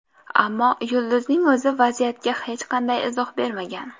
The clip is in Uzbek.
Ammo yulduzning o‘zi vaziyatga hech qanday izoh bermagan.